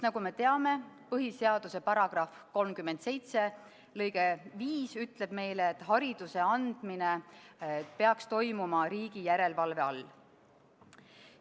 Nagu me teame, põhiseaduse § 37 lõige 5 ütleb meile, et hariduse andmine on riigi järelevalve all.